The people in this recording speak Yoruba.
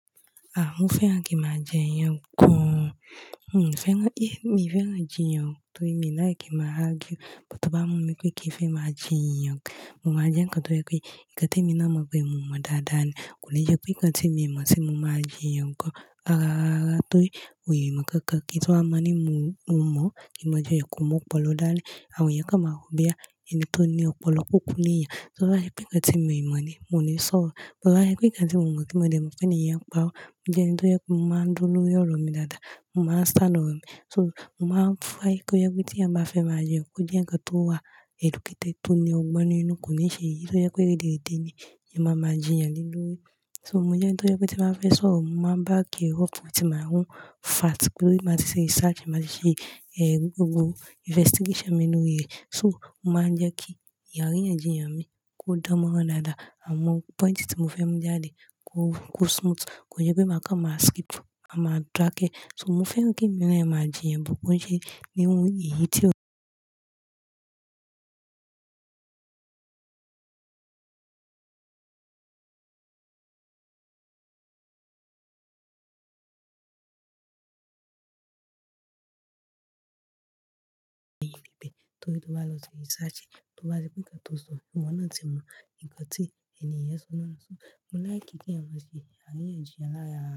Mo fẹ́ràn kí n máa jẹ iyan gan. Mi fẹ́ràn, mi fẹ́ràn jí yàn torí mi like kí n máa argue. Bó tó bá mú mi pé kí n fẹ́ máa jí yàn, mo máa jẹ́ nǹkan tó jẹ́ pé nǹkan te mi náa mọ̀ pé mò mọ̀ dáadáa ni. Kò ní jẹ́ pé nǹkan tí mi mọ̀ sí mo máa jí yàn gan rara rárá, torí ò yì mọ̀ nkankan kí ń tú wá máa ní mo mọ̀, kí mo jí yàn kò mú ọ̀pọ̀lọpọ̀ dan ni, àwọn ẹ̀yàn kan máa wo boyà, ẹni tó ní ọ̀pọ̀lọpọ̀ kò kú lè yàn. Tó bá sẹ́ pé nǹkan tí mi mọ̀ ni, mò ní sọ̀rọ̀. Bí bá jẹ́ pé nǹkan tí mo mọ̀ tí mo dẹ́, mo tẹ́ni èèyàn páro mo jẹ́ ẹni tó jẹ́ kó máa dúró lórí ọ̀rọ̀ mi dáadáa, mo máa sálọ ọ̀rọ̀ mi. So mo máa ń fẹ́ ko jẹ pé ti èèyàn ba fe maa jiyan, ko jẹ̀ nnkan tó wà educated to ní ọgbọ́n nínú kò ní ṣe èyí tó jẹ pe rederedé ni ẹ máa máa jíyan lé lórí. So, mo jẹ́ ẹni tó jẹ kó tí n bàá fẹ́ sọ̀rọ̀, mo màá back ẹ up with my own fact torí màá ti ṣe research, màá ti ṣe, eh, gbogbo investigation mi lori rẹ. So, o màá n jẹ́ kí àríyànjiyàn mi kó dán mọrán dáadáa. Awon point tí mo fẹ́ mú jáde kó smooth. Kò jẹ pé màá kàn màá skip, màá maa dakẹ. So mo fẹ́ràn kí emi naa kí máa jíyàn but tí ko n ṣe níhun èyí tí ó. Torí tó bá lọ ṣe research, kí ó bá rí pé nǹkan tó sọ fún wọn náà tí mọ̀ nǹkan tí ènìyàn sọ náà. So mo láì kí kí ẹ̀ n bá ṣe àríyànjiyàn láàárọ̀